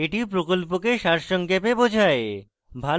এটি প্রকল্পকে সারসংক্ষেপে বোঝায়